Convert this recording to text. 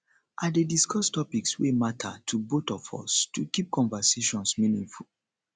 i dey discuss topics wey matter to both of us to keep conversations meaningful